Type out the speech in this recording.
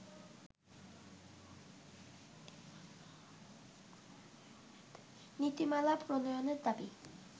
নীতিমালা প্রণয়নের দাবি